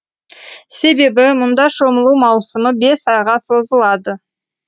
себебі мұнда шомылу маусымы бес айға созылады